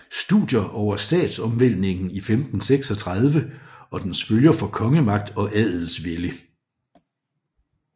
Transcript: Studier over Statsomvæltningen i 1536 og dens Følger for Kongemagt og Adelsvælde